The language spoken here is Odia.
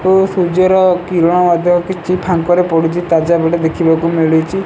ଓ ସୂର୍ଯ୍ୟ ର କିରଣ ଅଳ୍ପ କିଛି ଫାଙ୍କ ରେ ପଡ଼ୁଚି ତାଜା ଭିଉ ଟେ ଦେଖିବାକୁ ମିଳୁଚି।